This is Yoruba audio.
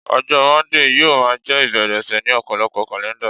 ọjọ Monday yíò ma je ibere ọsẹ ni ọpọlọpọ kalẹnda